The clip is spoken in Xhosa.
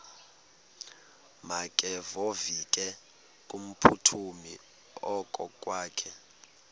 makevovike kumphuthumi okokwakhe